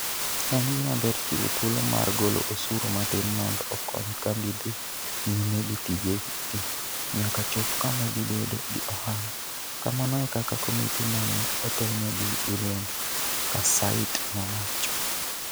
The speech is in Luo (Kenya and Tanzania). En gima ber chiwo thuolo mar golo osuru matin mondo okony kambi dhi nyime gi tijegi nyaka chop kama gibedo gi ohala, kamano e kaka komiti ma ne otelnegi gi William Kassait nowacho.